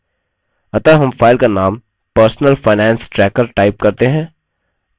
अतः हम file का name personal finance tracker type करते हैं